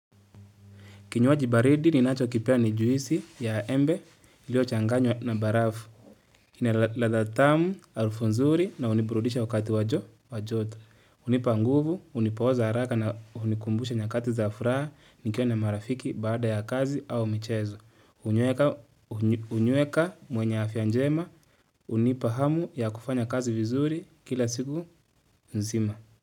Kinywaji baridi ninacho kipenda ni juisi ya embe iliyo changanywa na barafu. Ina ladha tamu, harufu nzuri na huniburudisha wakati wa joto. Hunipa nguvu, hunipooza haraka na hunikumbusha nyakati za furaha nikiwa na marafiki baada ya kazi au michezo. Hunyweka mwenye afya njema, hunipa hamu ya kufanya kazi vizuri kila siku nzima.